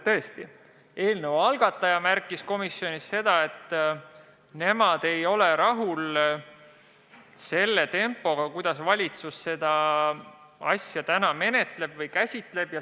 Tõesti, eelnõu algataja märkis komisjonis, et nemad ei ole rahul tempoga, kuidas valitsus seda probleemi lahendab.